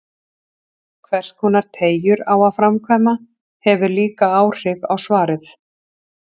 Hverskonar teygjur á að framkvæma, hefur líka áhrif á svarið.